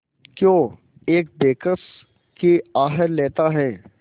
क्यों एक बेकस की आह लेता है